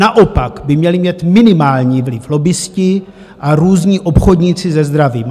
Naopak by měli mít minimální vliv lobbisté a různí obchodníci se zdravím.